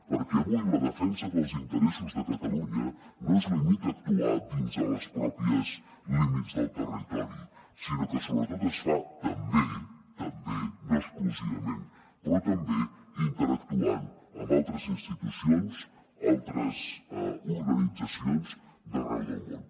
perquè avui la defensa dels interessos de catalunya no es limita a actuar dins dels propis límits del territori sinó que sobretot es fa també també no exclusivament però també interactuant amb altres institucions altres organitzacions d’arreu del món